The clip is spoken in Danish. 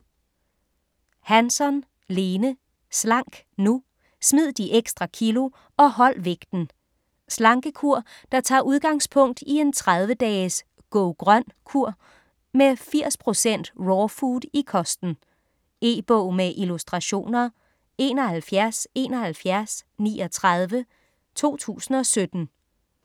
Hansson, Lene: Slank nu!: smid de ekstra kilo og hold vægten Slankekur der tager udgangspunkt i en 30 dages "Go-grøn kur" med 80% raw food i kosten. E-bog med illustrationer 717139 2017.